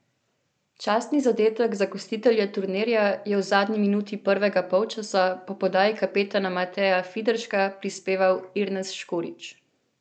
Častni zadetek za gostitelje turnirja je v zadnji minuti prvega polčasa po podaji kapetana Mateja Fiderška prispeval Irnes Škorić.